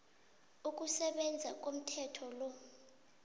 ukusebenza komthetho lo